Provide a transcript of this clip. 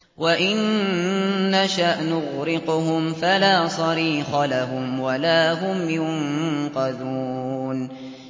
وَإِن نَّشَأْ نُغْرِقْهُمْ فَلَا صَرِيخَ لَهُمْ وَلَا هُمْ يُنقَذُونَ